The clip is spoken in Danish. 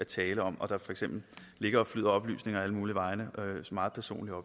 tale om og der for eksempel ligger og flyder oplysninger alle mulige vegne meget personlige